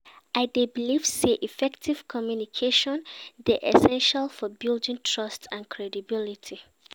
I dey believe say effective communication dey essential for building trust and credibility.